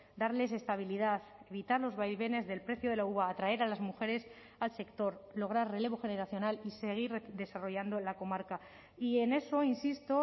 darles estabilidad evitar los vaivenes del precio de la uva atraer a las mujeres al sector lograr relevo generacional y seguir desarrollando la comarca y en eso insisto